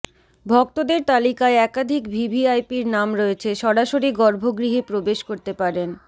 ভক্তদের তালিকায় একাধিক ভিভিআইপির নাম রয়েছে সরাসরি গর্ভগৃহে প্রবেশ করতে পারেন